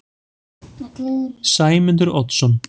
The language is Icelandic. Sæmundur Oddsson